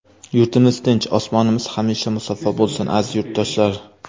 Yurtimiz tinch, osmonimiz hamisha musaffo bo‘lsin, aziz yurtdoshlar!